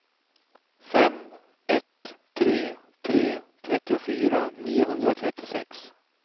fem ett tre tre trettiofyra niohundratrettiosex